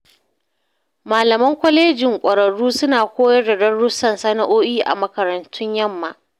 Malaman kwalejin ƙwararru suna koyar da darussan sana’o’i a makarantun yamma.